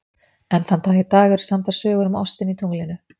Enn þann dag í dag eru samdar sögur um ostinn í tunglinu.